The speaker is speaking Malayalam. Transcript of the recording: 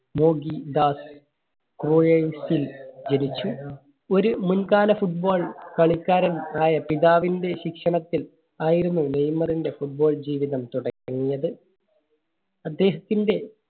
ജനിച്ചു. ഒരു മുൻ കാല Football കളിക്കാരൻ ആയ പിതാവിന്റെ ശിക്ഷണത്തിൽ ആയിരുന്നു നെയ്മറിന്റെ Football ജീവിതം തുടങ്ങിയത്. അദ്ദേഹത്തിന്റെ